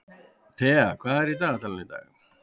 Thea, hvað er í dagatalinu í dag?